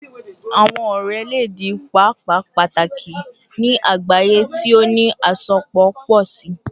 Awọn ọrẹ le di paapaa pataki ni agbaye ti o ni asopọ pọ si